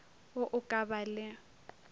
wo o ka ba le